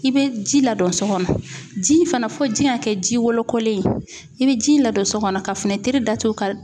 I bɛ ji ladon so kɔnɔ ji in fana fo ji in ka kɛ ji wɔlɔkolen ye i bɛ ji in ladon so kɔnɔ ka finɛtiri datugu ka